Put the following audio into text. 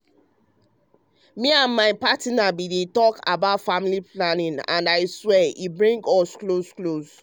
me with my partner bin talk about family planning and i swear e bring us close close.